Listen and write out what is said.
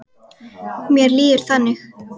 Mér líður þannig.